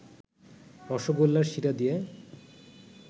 রসগোল্লার শিরা দিয়ে